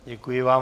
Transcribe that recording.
Děkuji vám.